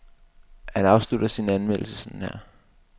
Han afslutter sin anmeldelse sådan her.